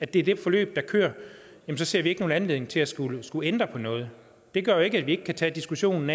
det er det forløb der kører ser vi ikke nogen anledning til at skulle skulle ændre på noget det gør jo ikke at vi ikke kan tage diskussionen